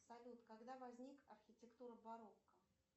салют когда возникла архитектура барокко